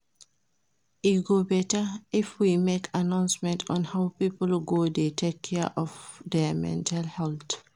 E go beta if we make announcement on how people go dey take care of their mental health